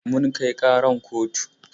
Mun kai ƙaran kotu.